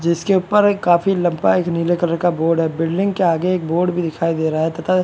जिसके ऊपर काफी लंबा एक नीले कलर का बोर्ड है बिल्डिंग के आगे एक बोर्ड भी दिखाई दे रहा है तथा --